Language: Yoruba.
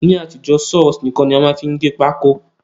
Ní àtijó, Saw horse nìkan ni a má n fi gé pákó